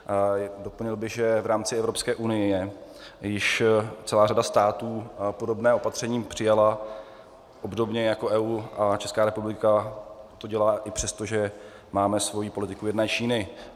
Doplnil bych, že v rámci Evropské unie již celá řada států podobné opatření přijala, obdobně jako EU, a Česká republika to dělá i přesto, že máme svoji politiku jedné Číny.